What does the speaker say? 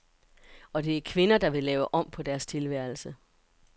Og det er kvinder, der vil lave om på deres tilværelse.